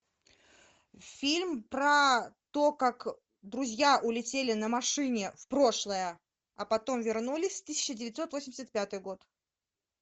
фильм про то как друзья улетели на машине в прошлое а потом вернулись в тысяча девятьсот восемьдесят пятый год